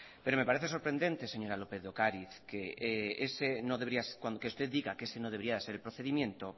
pero me parece sorprendente señora lópez de ocariz que usted diga que ese no debería ser el procedimiento